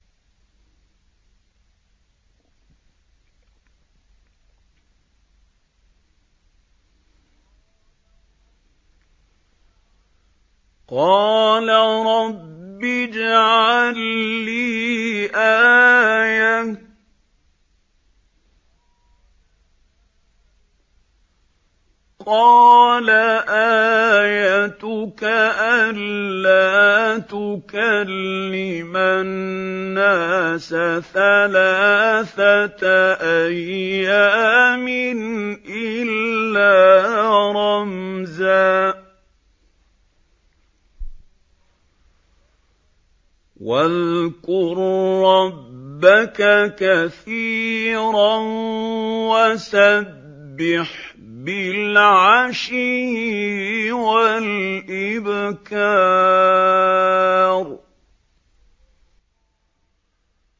قَالَ رَبِّ اجْعَل لِّي آيَةً ۖ قَالَ آيَتُكَ أَلَّا تُكَلِّمَ النَّاسَ ثَلَاثَةَ أَيَّامٍ إِلَّا رَمْزًا ۗ وَاذْكُر رَّبَّكَ كَثِيرًا وَسَبِّحْ بِالْعَشِيِّ وَالْإِبْكَارِ